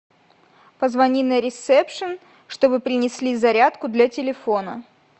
позвони на ресепшн чтобы принесли зарядку для телефона